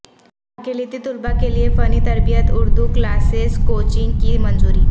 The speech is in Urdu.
اقلیتی طلبا کیلئے فنی تربیتی اردو کلاسیس کوچنگ کی منظوری